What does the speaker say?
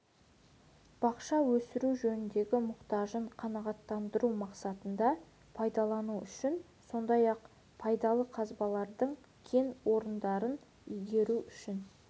бақша өсіру жөніндегі мұқтажын қанағаттандыру мақсатында пайдалану үшін сондай-ақ пайдалы қазбалардың кен орындарын игеру үшін